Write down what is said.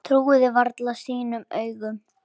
Trúði varla sínum eigin augum.